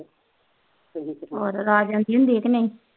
ਹੋਰ ਰਾਜ ਆ ਜਾਂਦੀ